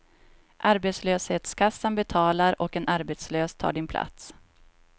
Arbetslöshetskassan betalar och en arbetslös tar din plats.